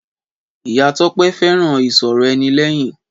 Ìyá Tọ́pé fẹ́ràn ìsọ̀rọ̀-ẹni-lẹ́yìn